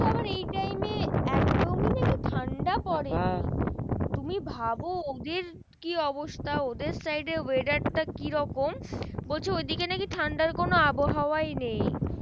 একদমই নাকি ঠান্ডা পরে নি। তুমি ভাবো ওদের কি অবস্থা? ওদের side weather টা কিরকম? বলছে ঐদিকে নাকি ঠান্ডার কোনো আবহাওয়াই নেই।